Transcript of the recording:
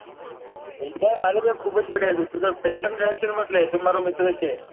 પૈસા તો મારી પાસે ખુબ જ પડ્યા છે તું તાર પૈસા ની ગણતરી નાં લે તું મારો મિત્ર છે.